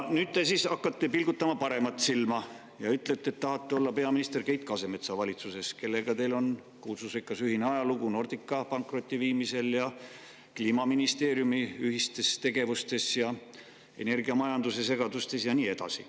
Nüüd te siis hakkate pilgutama paremat silma ja ütlete, et tahate olla peaminister Keit Kasemetsa valitsuses, kellega teil on kuulsusrikas ühine ajalugu Nordica pankrotti viimisel, Kliimaministeeriumi ühistes tegevustes, energiamajanduse segadustes ja nii edasi.